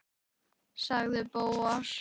sagði Bóas.